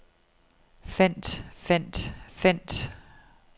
fandt fandt fandt